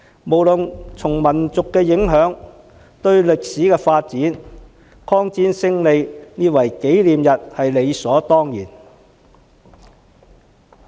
不論從民族影響或歷史發展而言，紀念抗戰勝利也是理所當然。